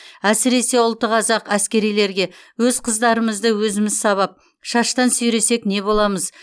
әсіресе ұлты қазақ әскерилерге өз қыздарымызды өзіміз сабап шаштан сүйресек не боламыз